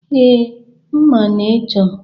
Ee, ma ị chọ